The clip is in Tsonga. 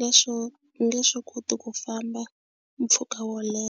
leswo nge swi koti ku famba mpfhuka wo leha.